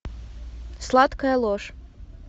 сладкая ложь